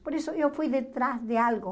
Por isso eu fui de trás de algo.